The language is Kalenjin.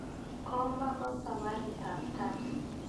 Komo ko sabarit ab tai